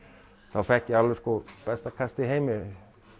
þá fékk ég alveg besta kast í heimi